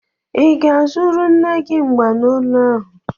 Ị ga-azụrụ nne gị mbanolu ahụ?